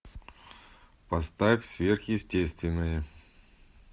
поставь сверхъестественное